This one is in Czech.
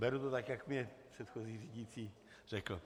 Beru to tak, jak mi předchozí řídící řekl.